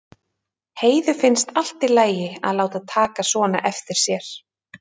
Heiðu finnst allt í lagi að láta taka svona eftir sér.